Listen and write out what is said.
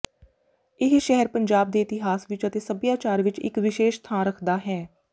ਇਹ ਸ਼ਹਿਰ ਪੰਜਾਬ ਦੇ ਇਤਿਹਾਸ ਵਿੱਚ ਅਤੇ ਸੱਭਿਆਚਾਰ ਵਿੱਚ ਇੱਕ ਵਿਸ਼ੇਸ਼ ਥਾਂ ਰੱਖਦਾ ਹੈ